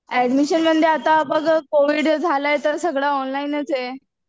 ऍडमिशनमध्ये आता बघ कोविड झालंय तर सगळं ऑनलाइनच हाय.